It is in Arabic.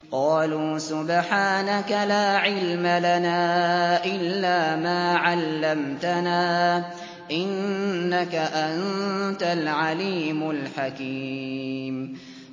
قَالُوا سُبْحَانَكَ لَا عِلْمَ لَنَا إِلَّا مَا عَلَّمْتَنَا ۖ إِنَّكَ أَنتَ الْعَلِيمُ الْحَكِيمُ